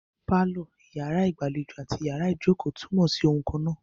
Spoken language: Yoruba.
Pálọ̀, iyàrá ìgbàlejò àti iyàrá ìjókò túnmọ̀ sí oun kannáà.